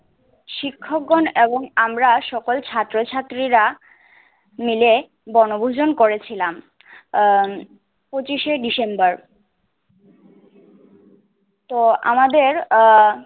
শিক্ষকগণ এবং আমরা সকল ছাত্র ছাত্রীরা মিলে বনভূজন করেছিলাম। আহ পঁচিশে ডিসেম্বার তো আমাদের আহ